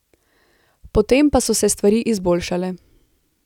Potem pa so se stvari izboljšale.